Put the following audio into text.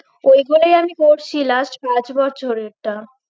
ওইগুলোই আমি পড়ছি last পাঁচ বছরেরটা